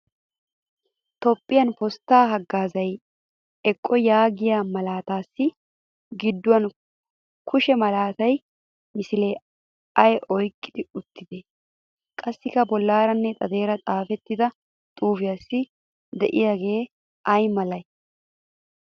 Toophphiya posttaa haggaazaa eqotaa yaagiya malaataassi gidduwan kushe malatiya misilee aybaa oyqqi uttidee? Qassi bollaaranne xadeer xaafettida xuufiyassi de'iyagee ay malee?